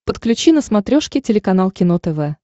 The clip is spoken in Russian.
подключи на смотрешке телеканал кино тв